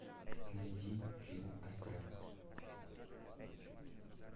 найди фильм астрал